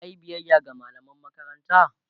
yayi biyaya ga mallaman makaranta?